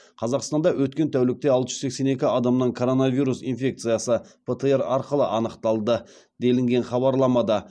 қазақстанда өткен тәулікте алты жүз сексен екі адамнан коронавирус инфекциясы птр арқылы анықталды делінген хабарламада